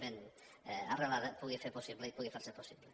ben arrelada pugui ser possible i pugui fer se possible